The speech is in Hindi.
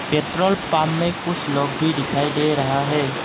पेट्रोल पंप में कुछ लोग भी दिखाई दे रहा है।